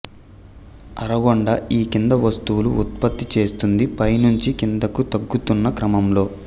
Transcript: అరగొండ ఈ కింది వస్తువులు ఉత్పత్తి చేస్తోంది పై నుంచి కిందికి తగ్గుతున్న క్రమంలో